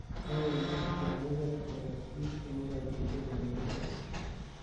teeb bendo nikanibeel koyob kiit negigoititen amitwogik